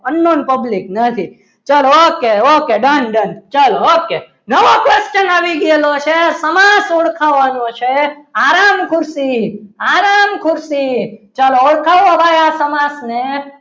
અન્નન public નથી ચલો okay okay done done ચલો ઓકે નવો question આવી ગયેલો છે સમાસ ઓળખાવાનો છે. આરામ ખુરશી આરામ ખુરશી ચલો ઓળખાયો ભાઈ આ સમાસને